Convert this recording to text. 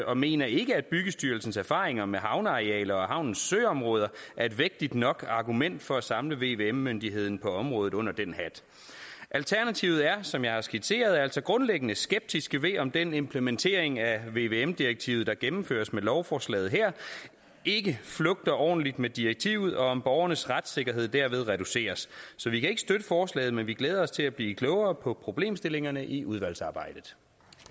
og mener ikke at byggestyrelsens erfaringer med havnearealer og havnens søområder er et vægtigt nok argument for at samle vvm myndigheden på området under den hat alternativet er som jeg har skitseret altså grundlæggende skeptisk ved om den implementering af vvm direktivet der gennemføres med lovforslaget her ikke flugter ordentligt med direktivet og om borgernes retssikkerhed derved reduceres så vi kan ikke støtte forslaget men vi glæder os til at blive klogere på problemstillingerne i udvalgsarbejdet